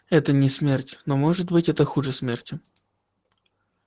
это не смерть но может быть это хуже смерти